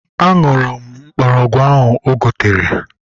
Mma n̄n̄wọn̄ ikọn̄ oro enye akadade edi